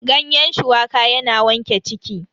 Ganyen shuwaka yana wanke ciki.